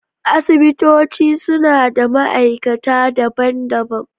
Asibitoci suna da ma’aikata daban-daban.